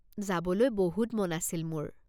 যাবলৈ বহুত মন আছিল মোৰ।